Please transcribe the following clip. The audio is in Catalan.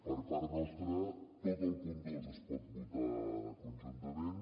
per part nostra tot el punt dos es pot votar conjuntament